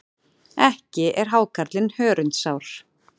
Ekki er hákarlinn hörundsár.